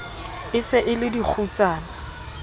e se e le dikgutsana